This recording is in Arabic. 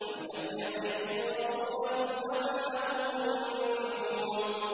أَمْ لَمْ يَعْرِفُوا رَسُولَهُمْ فَهُمْ لَهُ مُنكِرُونَ